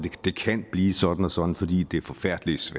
det kan blive sådan og sådan fordi det er forfærdeligt